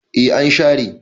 e an share